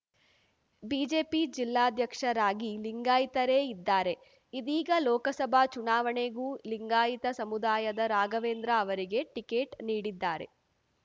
BJP ಜಿಲ್ಲಾಧ್ಯಕ್ಷರಾಗಿ ಲಿಂಗಾಯಿತರೇ ಇದ್ದಾರೆ ಇದೀಗ ಲೋಕಸಭಾ ಚುನಾವಣೆಗೂ ಲಿಂಗಾಯಿತ ಸಮುದಾಯದ ರಾಘವೇಂದ್ರ ಅವರಿಗೇ ಟಿಕೆಟ್‌ ನೀಡಿದ್ದಾರೆ